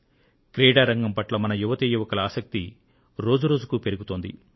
క్రీడారంగం పట్ల మన యువతీయువకుల ఆసక్తి రోజురోజుకు పెరుగుతోంది